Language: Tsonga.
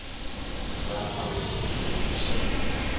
va nawu ya xitifiketi xa